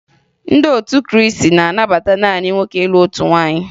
Ndị otu Krịịsị na-anabata naanị nwoke ịlụ otu nwaanyị